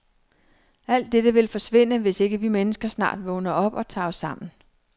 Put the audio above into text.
Alt dette vil forsvinde, hvis ikke vi mennesker snart vågner op og tager os sammen.